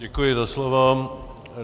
Děkuji za slovo.